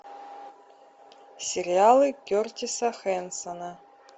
сериалы кертиса хенсона